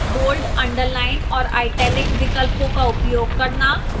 bold underline और italic विकल्पों का उपयोग करना